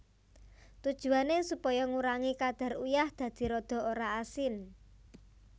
Tujuwané supaya ngurangi kadar uyah dadi rada ora asin